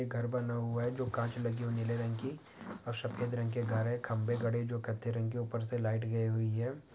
एक घर बना हुआ है जो काच लगे हुए है नीले रंग की और सफेद रंग के घर है खंभे खड़े जो कत्थई रंग के ऊपर से लाइट गई हुई है।